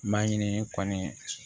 Maɲini kɔni